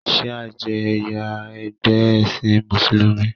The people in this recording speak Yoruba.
shia je ẹyà ẹgbẹ esin musulumi